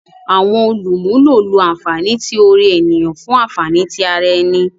Awọn olumulo lo anfani ti ore eniyan fun anfani ti ara ẹni.